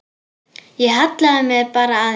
Ég hallaði mér bara aðeins.